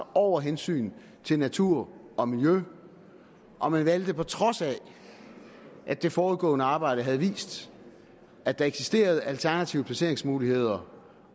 over hensynet til natur og miljø og man valgte på trods af at det forudgående arbejde havde vist at der eksisterede alternative placeringsmuligheder